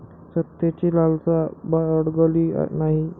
सत्तेची लालसा बाळगली नाही.